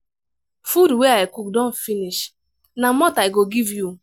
food wey i cook don finish na malt i go give you.